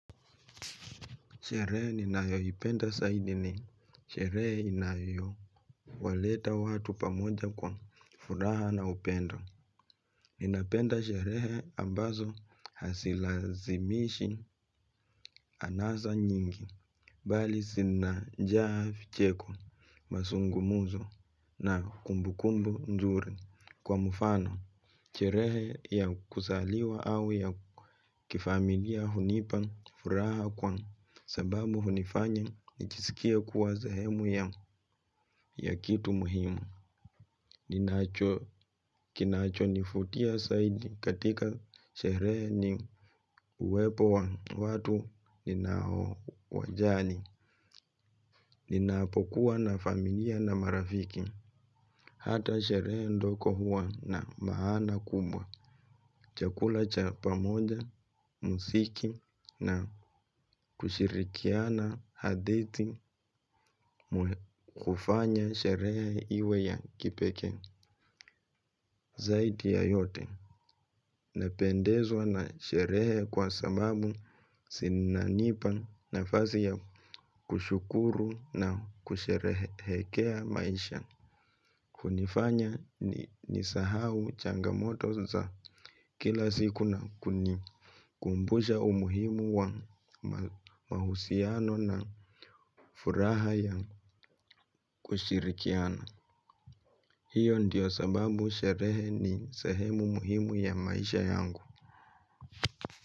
Sherehe ninayoipenda saidi ni, sherehe inayowaleta watu pamoja kwa furaha na upendo. Ninapenda sherehe ambazo hasilazimishi anasa nyingi, bali sinajaa ficheko masungumuzo na kumbukumbu njuri kwa mufano. Sherehe ya kusaliwa au ya kifamilia hunipa furaha kwa sababu hunifanya nijisikie kuwa zehemu ya kitu muhimu. Kinachonifutia saidi katika sherehe ni uwepo wa watu ninaowajali. Ninapokuwa na familia na marafiki. Hata sherehe ndoko huwa na maana kubwa. Chakula cha pamoja, musiki na kushirikiana hadithi kufanya sherehe iwe ya kipekee zaidi ya yote. Napendezwa na sherehe kwa sababu sinanipa nafasi ya kushukuru na kusherehekea maisha. Kunifanya nisahau changamoto za kila siku na kunikumbusha umuhimu wa mahusiano na furaha ya kushirikiana. Hiyo ndiyo sababu sherehe ni sehemu muhimu ya maisha yangu.